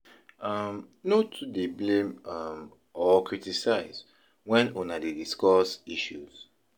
um No too dey blame[um] or criticize when una dey discuss issues.